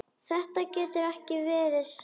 Þetta getur ekki verið satt.